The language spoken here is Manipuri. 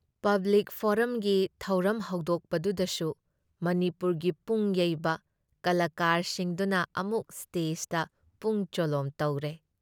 ꯄꯕ꯭ꯂꯤꯛ ꯐꯣꯔꯝꯒꯤ ꯊꯧꯔꯝ ꯍꯧꯗꯣꯛꯄꯗꯨꯗꯁꯨ ꯃꯅꯤꯄꯨꯔꯒꯤ ꯄꯨꯡ ꯌꯩꯕ ꯀꯂꯥꯀꯥꯔꯁꯤꯡꯗꯨꯅ ꯑꯃꯨꯛ ꯁ꯭ꯇꯦꯖꯗ ꯄꯨꯡ ꯆꯣꯂꯣꯝ ꯇꯧꯔꯦ ꯫